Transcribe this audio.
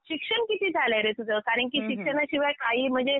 शिक्षण किती झालंय रे तुझं? कारण की शिक्षणाशिवाय काही म्हणजे